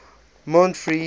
montfree